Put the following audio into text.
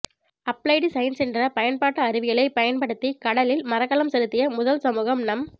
applied science என்ற பயன்பாட்டு அறிவியலை பயன்படுத்தி கடலில் மரக்கலம் செலுத்திய முதல் சமூகம் நம்